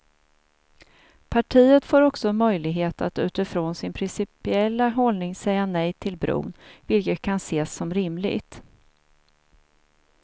Partiet får också möjlighet att utifrån sin principiella hållning säga nej till bron, vilket kan ses som rimligt.